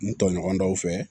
N tɔɲɔgɔn dɔw fɛ